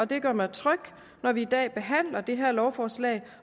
det gør mig tryg når vi i dag behandler det her lovforslag